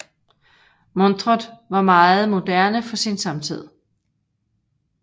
Montret var meget moderne for sin samtid